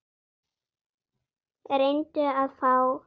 Reyndu að fá